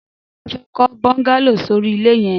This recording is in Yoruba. Damilola fè kọ bọngàló sóri ilẹ yẹ̀n